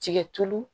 Tigɛ tulu